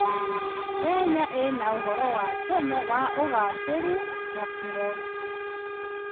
Kenya ĩna ũhoro wa tene wa ũgacĩĩru na moritũ.